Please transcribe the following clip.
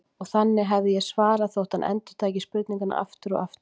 Og þannig hefði ég svarað, þótt hann endurtæki spurninguna aftur og aftur.